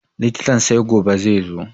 Likitan sai gobe zaizo